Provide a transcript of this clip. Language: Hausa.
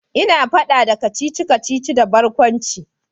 Ina fada da kacici-kacici da barkwanci